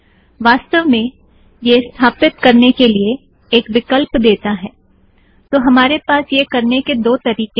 वस्थाव मैं यह स्थापित करने के लिए एक विकल्प देता है - तो हमारे पास यह करने के दो तरीकें हैं